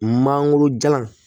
Mangoro jalan